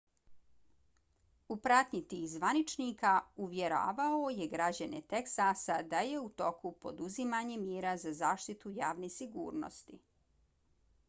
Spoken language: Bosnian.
u pratnji tih zvaničnika uvjeravao je građane teksasa da je u toku poduzimanje mjera za zaštitu javne sigurnosti